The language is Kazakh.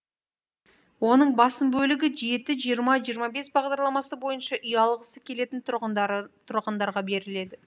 оның басым бөлігі жеті жиырма жиырма бес бағдарламасы бойынша үй алғысы келетін тұрғындарға беріледі